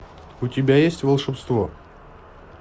у тебя есть волшебство